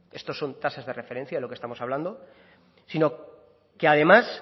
esto son tasas de referencia de lo que estamos hablando sino que además